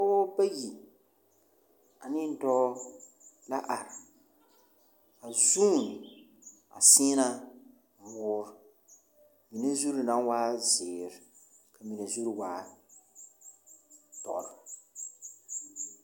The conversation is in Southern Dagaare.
Pͻgebͻ bayi aneŋ dͻͻ la are. a zuun a seena woore mine zuri naŋ waa zeere, ka mine zuri waa dͻre.